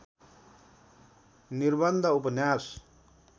निर्बन्ध उपन्यास